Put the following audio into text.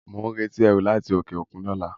Mo ń retí ẹrú láti òkè òkun ni ọ̀la